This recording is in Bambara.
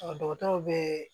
Ɔ dɔgɔtɔrɔw bɛ